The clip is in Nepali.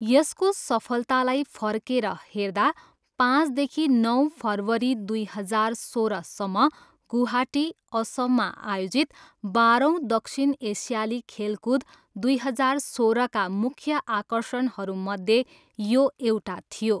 यसको सफलतालाई फर्केर हेर्दा पाँचदेखि नौ फेब्रुअरी दुई हजार सोह्रसम्म गुवाहाटी, असममा आयोजित बाह्रौँ दक्षिण एसियाली खेलकुद दुई हजार सोह्रका मुख्य आकर्षणहरूमध्ये यो एउटा थियो।